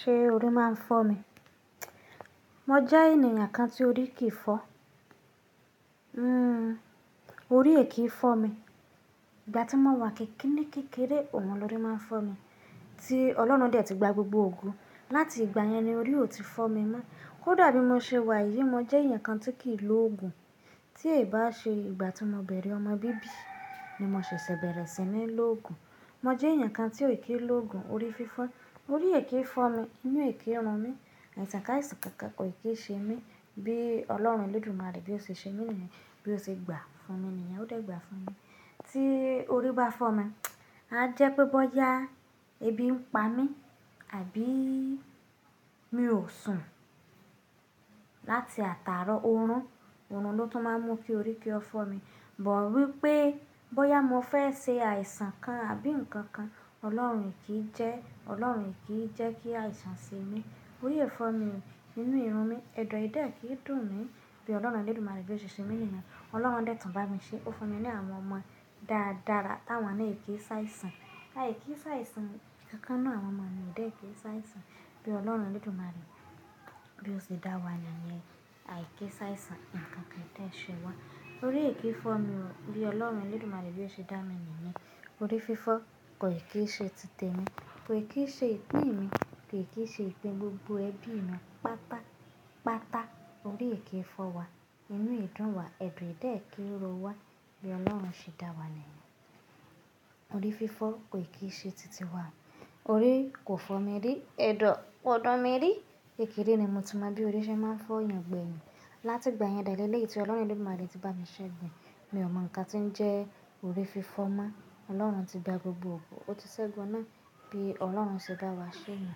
Ṣé orí máa ń fọ́ mi? Mo jẹ́ ènìyàn kan tí orí kì í fọ́. Hmm, orí è kí í fọ́ mi. Ìgbà tí mo wà kikini kékeré, òun lọ́ri máa ń fọ́ mi. Tí Ọlọ́run dẹ̀ ti gba gbogbo ogo. Láti ìgbà yẹn ni orí ò ti fọ́ mi mọ́. Kódà bí mo ṣe wà yí, mo jẹ́ èèyàn kan tí kì í lòògùn. Tí è bá ṣe ìgbà tí mo bẹ̀rẹ̀ ọmọ bíbí ni mo ṣẹ̀ṣẹ̀ bẹ̀rẹ̀ sí ní lòògùn. Mo jẹ́ èèyàn kan tí ò kí í lòògùn orí fífọ́. Orí è kí í fọ́ mi, inú è kí í run mí, àìsàn àìsàn kankan kò ì kí í ṣe mí bí Ọlọ́run Elédùmarè bí ó ṣe ṣe mí ní yẹn, bí ó ṣe gbà fún mi ní yẹn ó dà gbà fún mi. Tí orí bá fọ́ mi, a jẹ́ pé bóyá ebi ń pa mí àbí mi ò sùn. Láti àtààrọ̀, oorun, oorun ló tún máa ń mú kí orí kí ó fọ́ mi. But wípé bóyá mo fẹ́ ṣe àìsàn kan àbí nǹkan kan, Ọlọ́run kì í jẹ́, Ọlọ́run kì í jẹ́ kí àìsàn ṣe mí. Orí è fọ́ mi, inú è run mí, ẹ̀dọ̀ è dẹ́ẹ̀ kí í dùn mí bí Ọlọ́run Elédùmarè bí ó ṣe ṣe mí ní yẹn. Ọlọ́run dẹ̀ tún bá mi ṣe, ó fún mi ní àwọn ọmọ dáadára táwọn náà è kí sáìsàn. A è kí sá àìsàn, nǹkankan n'nu àwọn ọmọ mi ò dẹ́ẹ̀ kí sá àìsàn bí Ọlọ́run Elédùmarè bí ó ṣe dá wa nìyẹn. A è kí sá àìsàn, nǹkan kì í dẹ́ẹ̀ ṣe wa. Orí è kí í fọ́ mi o bí Ọlọ́run Elédùmarè bí ó ṣe dá mi nìyẹn. Orí fífọ́ kò ì kí í ṣe títe mi, kò ì kí í ṣe ìpín mi, kò ì kí í ṣe ìpín gbogbo ẹbí mi. Pátá, pátá orí è kí í fọ́ wa, inú è dún wa, ẹ̀dọ̀ è dẹ́ẹ̀ kí í ro wa bí Ọlọ́run ṣe dá wa nìyẹn. Orí fífọ́ kò ì kí í ṣe títì wa. Orí kò fọ́ mi rí, ẹ̀dọ̀ kò dùn mi rí. Kékéré ni mo ti mọ bí orí ṣe máa ń fọ́ èèyàn gbẹ̀yìn. Láti ìgbà yẹn de léléyì tí Ọlọ́run Elédùmarè ti bá mi ṣẹ́gun ẹ́, mi ò mọ̀ nǹkan tí ń jẹ́ orí fífọ́ mó. Ọlọ́run ti gba gbogbo ògo, ó ti ṣẹ́gun náà bí Ọlọ́run ṣe bá wa ṣe nù.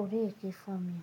Orí è kí í fọ́ mi.